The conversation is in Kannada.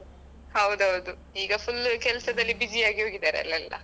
ಹೌದು ಹೌದು ಈಗ full ಕೆಲಸದಲ್ಲಿ busy ಆಗಿ ಹೋಗಿದ್ದಾರೆ ಅಲಾ ಎಲ್ಲ.